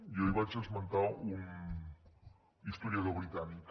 jo ahir vaig esmentar un historiador britànic